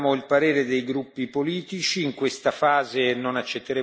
Adesso ascoltiamo il parere dei gruppi politici.